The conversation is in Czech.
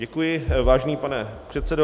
Děkuji, vážený pane předsedo.